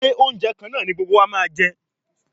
Ṣé oúnjẹ kan náà ni gbogbo wa máa jẹ?